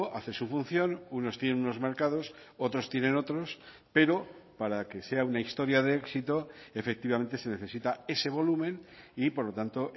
hace su función unos tienen unos mercados otros tienen otros pero para que sea una historia de éxito efectivamente se necesita ese volumen y por lo tanto